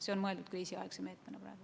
See on mõeldud kriisiaegse meetmena.